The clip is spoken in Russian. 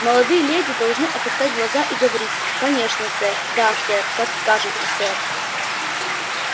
молодые леди должны опускать глаза и говорить конечно сэр да сэр как скажете сэр